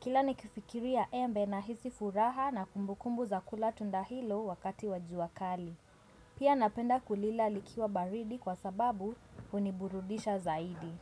Kila nikifikiria embe nahisi furaha na kumbukumbu za kula tunda hilo wakati wa jua kali. Pia napenda kulila likiwa baridi kwa sababu huniburudisha zaidi.